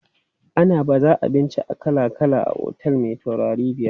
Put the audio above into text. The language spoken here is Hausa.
Ana baza abinci kala kala a otel me taurarai biyar.